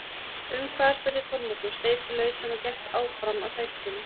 Um hvað spurði Kormákur, sleit sig lausann og gekk áfram að sætinu sínu.